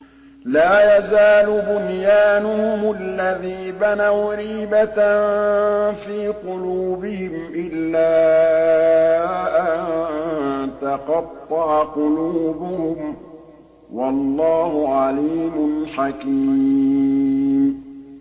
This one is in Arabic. لَا يَزَالُ بُنْيَانُهُمُ الَّذِي بَنَوْا رِيبَةً فِي قُلُوبِهِمْ إِلَّا أَن تَقَطَّعَ قُلُوبُهُمْ ۗ وَاللَّهُ عَلِيمٌ حَكِيمٌ